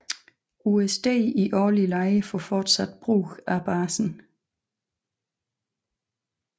USD i årlig leje for fortsat brug af basen